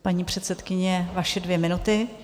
Paní předsedkyně, vaše dvě minuty.